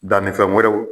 Dannifɛn wɛrɛw